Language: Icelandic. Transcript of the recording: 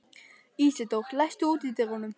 Ísidór, læstu útidyrunum.